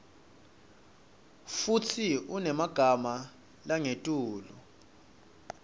futsi unemagama langetulu